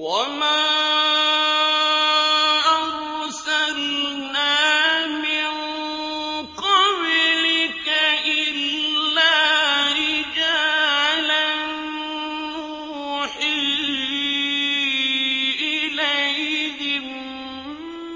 وَمَا أَرْسَلْنَا مِن قَبْلِكَ إِلَّا رِجَالًا نُّوحِي إِلَيْهِم